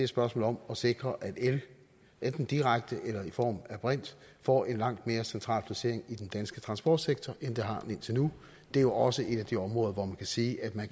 spørgsmål om at sikre at el enten direkte eller i form af brint får en langt mere central placering i den danske transportsektor end det har haft indtil nu det er jo også et af de områder hvor man kan sige at